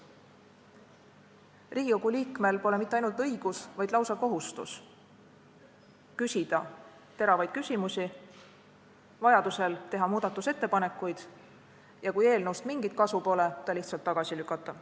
Riigikogu liikmel pole mitte ainult õigus, vaid lausa kohustus küsida teravaid küsimusi, vajaduse korral teha muudatusettepanekuid ja kui eelnõust mingit kasu pole, siis ta lihtsalt tagasi lükata.